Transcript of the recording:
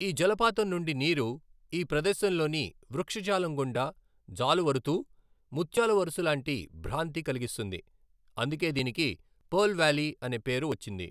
ఈ జలపాతం నుండి నీరు ఈ ప్రదేశంలోని వృక్షజాలం గుండా జాలువరుతూ ముత్యాల వరుస లాంటి భ్రాంతి కలిగిస్తుంది, అందుకే దీనికి పెర్ల్ వ్యాలీ అనే పేరు వచ్చింది.